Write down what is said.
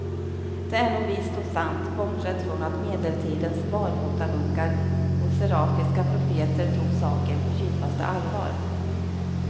Det är nog visst och sant, bortsett från att medeltidens barfotamunkar och serafiska profeter tog saken på djupaste allvar.